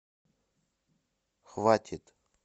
хватит